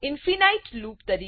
infinite તરીકે કહેવાય છે